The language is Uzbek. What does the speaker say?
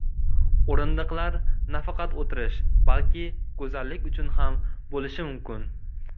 O‘rindiqlar nafaqat o‘tirish, balki go‘zallik uchun ham bo‘lishi mumkin.